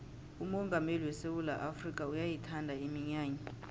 umongameli wesewula afrikha uyayithanda iminyanya